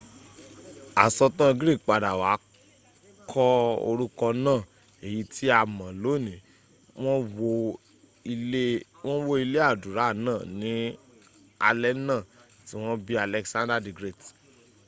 asọ̀tàn greek padà wá kọ orúkọ náà èyí tí a ma lọ́nìí wọ́n wó ilé àdúrà náà ní alé náà tí wọ́n bí alexander the great